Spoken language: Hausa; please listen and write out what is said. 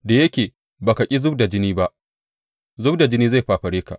Da yake ba ka ƙi zub da jini ba, zub da jini zai fafare ka.